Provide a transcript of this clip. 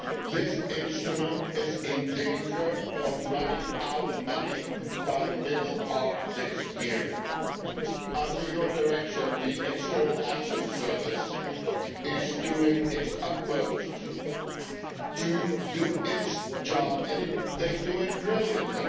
This Instrument is in danger of running out of money by the middle of this year. Under your direction, the External Action Service is doing its utmost to do its job and it does it brilliantly.